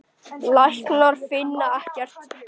Læknar finna ekkert.